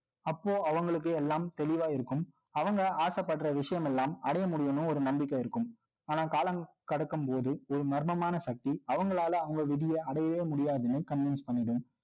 அப்போ, அவங்களுக்கு எல்லாம், தெளிவா இருக்கும். அவங்க ஆசைப்படுற விஷயம் எல்லாம், அடைய முடியும்ன்னு, ஒரு நம்பிக்கை இருக்கு ஆனா, காலம் கடக்கும் போது, ஒரு மர்மமான சக்தி, அவங்களால, அவங்க விதிய அடையவே முடியாதுன்னு convince பண்ணிடும்